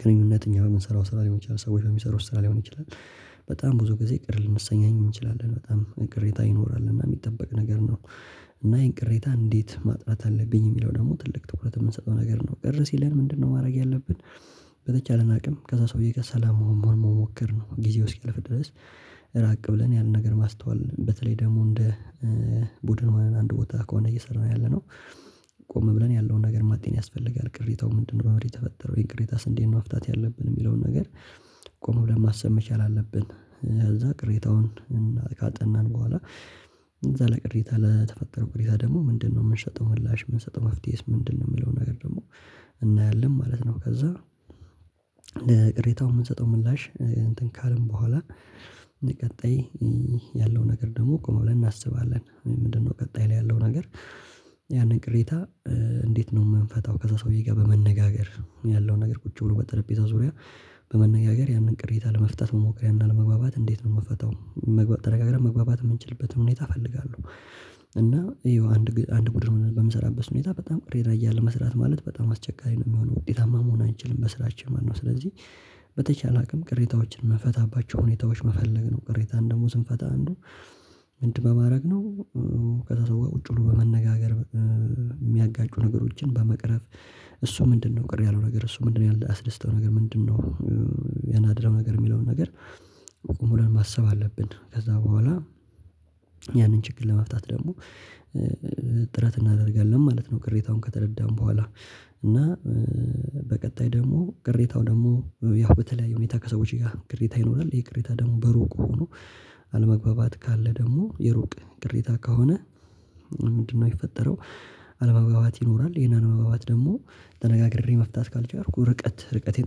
ግንኙነት እኛ በምንሰራው ስራ ሊሆን ይችላል፤ ሰዎች በሚሰሩ ስራ ሊሆን ይችላል፤ በጣም ብዙ ጊዜ ቅር ልንሰኛኝ እንችላለን በጣም ቅሬታ ይኖራል እና የሚጠበቅ ነገር ነው፤ እና ይሄን ቅሬታ እንዴት ማጥራት አለብኝ የሚለው ደግሞ ትልቅ ትኩረት የምንሰጠው ነገር ነው። "ቅር ሲለን ምንድነው ማድረግ ያለብን?" በተቻለን አቅም ከዛ ሰውዬ ጋር ሰላም መሆን መሞከር ነው። ጊዜው እስኪያልፍ ድረስ ራቅ ብለን ያንን ነገር ማስተዋል በተለይ ደግሞ እንደ ቡድን ሆነን አንድ ቦታ ከሆነ እየሰራን ያለነው ቆም ብለን ያለውን ነገር ማጤን ያስፈልጋል። "ቅሬታው ምንድነው?" "በምንድን ነው የተፈጠረው" ይህን ቅሬታስ እንዴት ነው መፍታት ያለብን የሚለውን ነገር ቆም ብለን ማሰብ መቻል አለብን። ከዛ ቅሬታውን እና ካጠናን በኋላ "ለዛ ለቅሬታ ለተፈጠረው ቅሬታ ደግሞ ምንድነው የምንሰጠው ምላሽ?" "የምንሰጠው መፍትሄስ ምንድነው?" የሚለው ነገር ደግሞ እናያለን ማለት ነው። ከዛ ቅሬታውን የምንሰጠው ምላሽ እንትን ካልን በኋላ ቀጣይ ያለው ነገር ደግሞ ቆም ብለን እናስባለን። ምንድነው ቀጣይ ላይ ያለው ነገር ያንን ቅሬታ እንዴት ነው የምንፈታው ከዛ ሰውዬ ጋር በመነጋገር ያለውን ነገር ቁጭ ብሎ በጠረጴዛው ዙሪያ በመነጋገር ያንን ቅሬታ ለመታት መሞከር ያንን አለመግባባት እንዴት ነው የምፈታው። መግባ ተነጋግረን መግባባት የምንችልበትም ሁኔታ እፈልጋለሁ፤ እና ይኸው አንድ ግ አንድ ቡድን ሁነን በምንሰራበት ሁኔታ በጣም ቅሬታ እያለ መስራት ማለት በጣም አስቸጋሪ ነው የሚሆነው፤ ውጤታማ መሆን አንችልም በስራቸው ማለት ነው። ስለዚህ በተቻለ አቅም ቅሬታዎችን የምንፈታባቸው ሁኔታዎች መፈለግ ነው። ቅሬታን ደግሞ ስንፈታ አንዱ ምንድን በማድረግ ነው ከዛ ሰው ጋር ቁጭ ብሎ በመነጋገር የሚያጋጩ ነገሮችን በመቅረፍ። "እሱ ምንድነው ቅር ያለው ነገር?" "እሱ ምንድነው ያላስደስተው ነገር ምንድነው?" ያናደደው ነገር የሚለውን ነገር ቆም ብለን ማሰብ አለብን። ከዛ በኋላ ያንን ችግር ለመፍታት ደግሞ ጥረት እናደርጋለን ማለት ነው ቅሬታውን ከተረዳን በኋላ፤ እና በቀጣይ ደግሞ ቅሬታው ደግሞ ያው በተለያዩ ሁኔታ ከሰዎች ጋር ቅሬታ ይኖራል። ይሄ ቅሬታ ደግሞ በሩቅ ሆኖ አለመግባባት ካለ ደግሞ የሩቅ ቅሬታ ከሆነ ምንድነው የሚፈጠረው አለመግባባት ይኖራል። ይሄን አለመግባባት ደግሞ ተነጋግሬ መፍታት ካልቻልኩ ርቀት ርቀቴን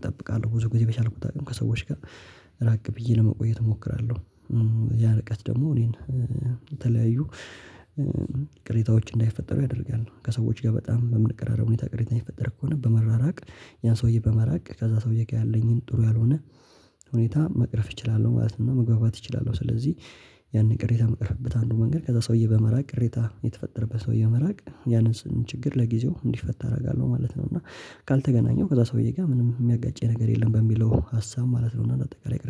እጠብቃለሁ ብዙ ጊዜ በቻልኩት አቅም ከሰዎች ጋር ራቅ ብዬ ለመቆየት እሞክራለሁ። ያ ርቀት ደግሞ እኔን ከተለያዩ ቅሬታዎች እንዳይፈጠሩ ያደርጋሉ። ከሰዎች ጋር በጣም በምንቀራረብ ሁኔታ ቅሬታ የሚፈጠር ከሆነ በመራራቅ ያን ሰውዬ በመራቅ ከዛ ሰውዬ ጋር ያለኝን ጥሩ ያልሆነ ሁኔታ መቅረፍ እችላለሁ ማለት ነው፤ እና መግባባት እችላለሁ። ስለዚህ ያንን ቅሬታ ምቀርፍበት አንዱ መንገድ ከዛ ሰውዬ በመራቅ ቅሬታ የተፈጠረበት ሰውዬ በመራቅ ያንን ችግር ለጊዜው እንዲፈታ አደርጋለሁ ማለት ነው፤ እና ካልተገናኘው ከዛ ሰውዬ ጋር ምንም የሚያጋጨኝ ነገር የለም በሚለው ሀሳብ ማለት ነው እና እንዳጠቃላይ ቅሬ